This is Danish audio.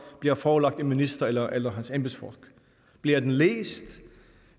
bliver forelagt en minister eller eller hans embedsfolk bliver den læst